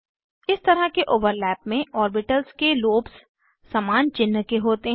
इस तरह के ओवरलैप में ओर्बिटल्स के लोब्स समान चिन्ह के होते हैं